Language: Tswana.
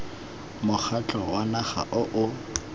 mokgatlho wa naga o o